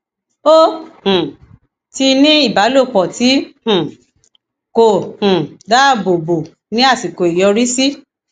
o um ti ní ìbálòpọ tí um kò um dáàbò bo ní àsìkò ìyọrísí